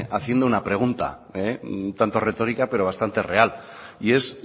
haciendo una pregunta un tanto retórica pero bastante real y es